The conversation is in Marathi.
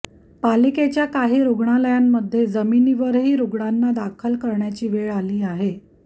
पालिकेच्या काही रुग्णालयांमध्ये जमिनीवरही रुग्णांना दाखल करण्याची वेळ आली आहे